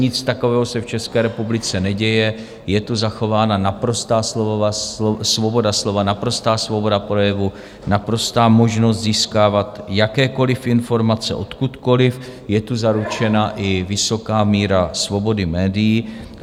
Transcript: Nic takového se v České republice neděje, je tu zachována naprostá svoboda slova, naprostá svoboda projevu, naprostá možnost získávat jakékoliv informace odkudkoliv, je tu zaručena i vysoká míra svobody médií.